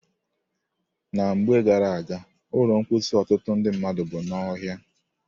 Na mgbe gara-aga, ụlọ mposi ọtụtụ ndị mmadụ bụ n'ọhịa.